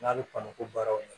N'a bɛ kɔn ko baaraw ye